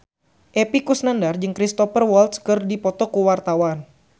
Epy Kusnandar jeung Cristhoper Waltz keur dipoto ku wartawan